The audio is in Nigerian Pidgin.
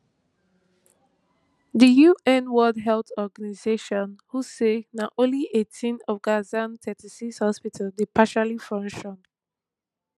di un world health organization who say na only eighteen of gaza thirty-six hospitals dey partially function